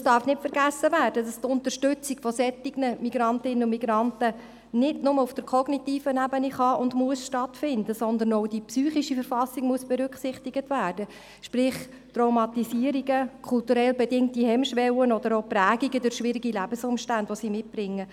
Es darf nicht vergessen werden, dass die Unterstützung von solchen Migrantinnen und Migranten nicht nur auf der kognitiven Ebene stattfinden kann und muss, sondern es muss auch die psychische Verfassung berücksichtigt werden, sprich Traumatisierungen, kulturell bedingte Hemmschwellen oder Prägungen durch schwierige Lebensumstände, welche sie mitbringen.